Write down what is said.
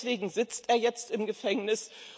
Deswegen sitzt er jetzt im Gefängnis.